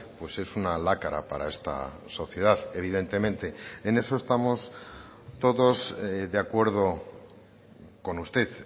pues es una lacra para esta sociedad evidentemente en eso estamos todos de acuerdo con usted